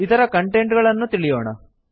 ಅದರ ಕಂಟೆಂಟ್ ಗಳನ್ನು ತಿಳಿಯೋಣ